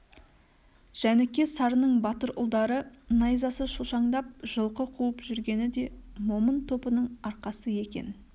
жәніке-сарының батыр ұлдары найзасы шошаңдап жылқы қуып жүргені де момын топының арқасы екен